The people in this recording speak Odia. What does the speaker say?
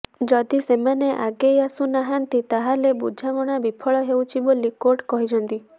ଯଦି ସେମାନେ ଆଗେଇ ଆସୁନାହାନ୍ତି ତାହାଲେ ବୁଝାମଣା ବିଫଳ ହେଉଛି ବୋଲି କୋର୍ଟ କହିଛନ୍ତି